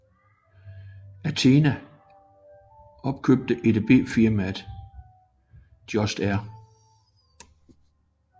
Athena opkøbte EDB firmaet Just R